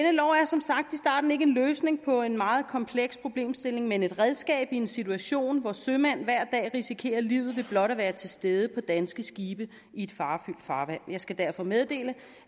som sagt i starten ikke en løsning på en meget kompleks problemstilling men et redskab i en situation hvor sømænd hver dag risikerer livet ved blot at være til stede på danske skibe i et farefyldt farvand jeg skal derfor meddele